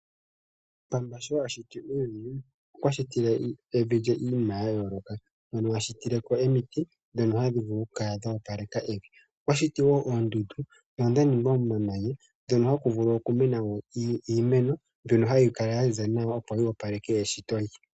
Pamba sho a shiti uuyuni, okwa shitile evi lye iinima yayooloka. Okwa shiti omiti, ndhono hadhi kulu oku wapeleke evi. Okwa shiti wo oondundu, ndhono dhaningwa momamanya, ndhono haku vulu okumena wo iimeno, hayi kala ya ziza nawa, opo yi wapeleke evi.